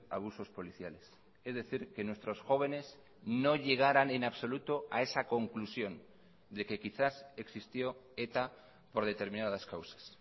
abusos policiales es decir que nuestros jóvenes no llegaran en absoluto a esa conclusión de que quizás existió eta por determinadas causas